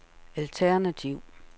alternativ